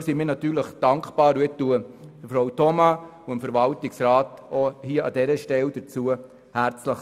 Dafür sind wir natürlich dankbar, und dazu gratuliere ich Frau Thoma und dem Verwaltungsrat an dieser Stelle herzlich.